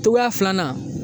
Togoya filanan